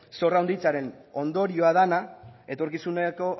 zorra handitzearen ondorioa dena etorkizuneko